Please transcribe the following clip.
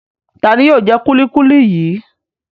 Ta ni yóò jẹ kúlíkúlí yìí?